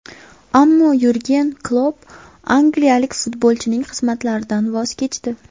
Ammo Yurgen Klopp angliyalik futbolchining xizmatlaridan voz kechdi.